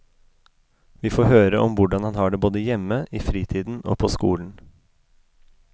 Vi får høre om hvordan han har det både hjemme, i fritiden og på skolen.